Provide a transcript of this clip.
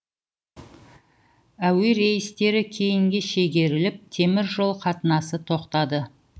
әуе рейстері кейінге шегеріліп темір жол қатынасы тоқтады